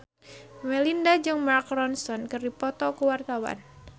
Melinda jeung Mark Ronson keur dipoto ku wartawan